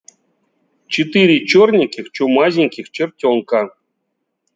четыре чёрненьких чумазеньких чертёнка